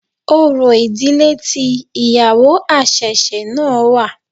Orò ìdílé tí ìyàwó àṣẹ̀ṣẹ̀ náà wà.